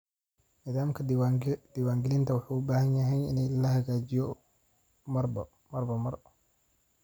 Nidaamka diiwaangelinta wuxuu u baahan yahay in la hagaajiyo marba mar.